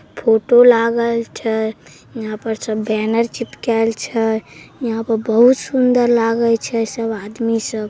Photo लागल छे यहाँ पर सब बैनर चिपकाएल छे यहाँ पर बहुत सुंदर लागई छे सब आदमी सब।